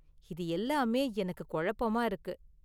இது எல்லாமே எனக்கு குழப்பமா இருக்கு.